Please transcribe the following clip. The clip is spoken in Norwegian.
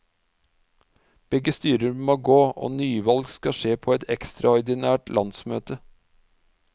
Begge styrer må gå, og nyvalg skal skje på et ekstraordinært landsmøte.